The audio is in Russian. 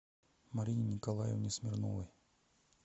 марине николаевне смирновой